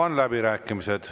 Avan läbirääkimised.